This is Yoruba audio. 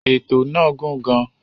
Ètò náà gùn gàn.